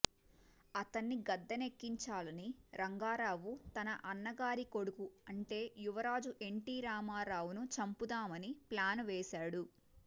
అతన్ని గద్దె నెక్కించాలని రంగారావు తన అన్నగారి కొడుకు అంటే యువరాజు ఎన్టీరామారావును చంపుదామని ప్లాను వేశాడు